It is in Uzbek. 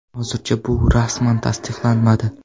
Hozircha bu rasman tasdiqlanmadi.